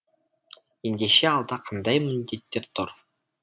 ендеше алда қандай міндеттер тұр